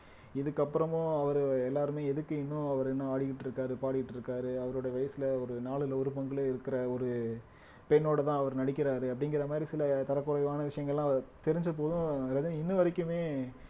இதுக்கு அப்புறமும் அவரு எல்லாருமே எதுக்கு இன்னும் அவரு இன்னும் ஆடிக்கிட்டு இருக்காரு பாடிட்டு இருக்காரு அவருடைய வயசுல ஒரு நாலுல ஒரு பங்குல இருக்குற ஒரு பெண்ணோடதான் அவர் நடிக்கிறாரு அப்படிங்கிற மாதிரி சில தரக்குறைவான விஷயங்கள்லாம் தெரிஞ்ச போதும் ரஜினி இன்ன வரைக்குமே